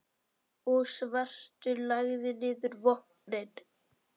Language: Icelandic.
og svartur lagði niður vopnin.